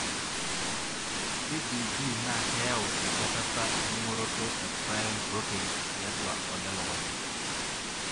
CJD naa keyau enchatata engoroto e prion proteins tiatua olelukunya.